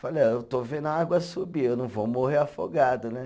Falei, eh eu estou vendo a água subir, eu não vou morrer afogado, né?